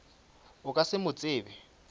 o ka se mo tsebe